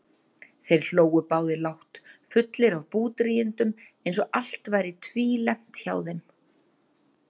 Þeir hlógu báðir lágt, fullir af búdrýgindum eins og allt væri tvílembt hjá þeim.